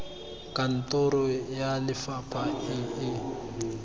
kantoro ya lefapha e e